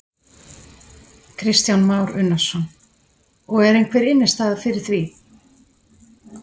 Kristján Már Unnarsson: Og er einhver innistæða fyrir því?